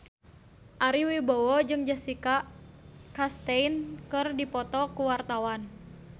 Ari Wibowo jeung Jessica Chastain keur dipoto ku wartawan